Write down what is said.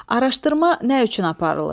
Araşdırma nə üçün aparılır?